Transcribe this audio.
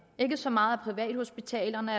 ikke så meget privathospitalerne